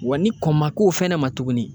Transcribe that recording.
Wa ni kɔn ma k'o fɛnɛ ma tuguni